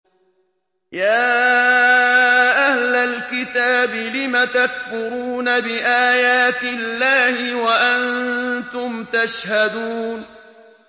يَا أَهْلَ الْكِتَابِ لِمَ تَكْفُرُونَ بِآيَاتِ اللَّهِ وَأَنتُمْ تَشْهَدُونَ